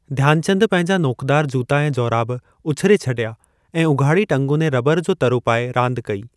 ध्यानचंदु पंहिंजा नोकदार जूता ऐं जोराब उछिरे छॾिया ऐं उघाड़ी टंगुनि ऐं रबर जो तरो पाए रांदि कई।